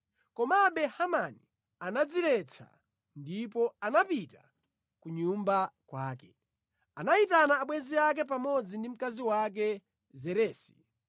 komabe Hamani anadziletsa ndipo anapita ku nyumba kwake. Anayitana abwenzi ake pamodzi ndi mkazi wake Zeresi.